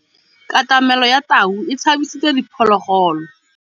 Katamêlô ya tau e tshabisitse diphôlôgôlô.